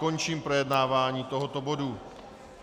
Končím projednávání tohoto bodu.